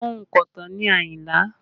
Ònkọ̀tan ni Ayinla